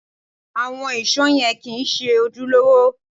Àwọn ìṣó yẹn kìí ṣe ojúlówó